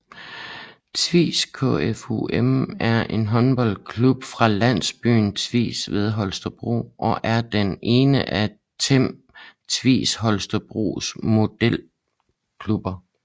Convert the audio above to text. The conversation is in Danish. Tvis KFUM er en håndboldklub fra landsbyen Tvis ved Holstebro og er den ene af Team Tvis Holstebros moderklubber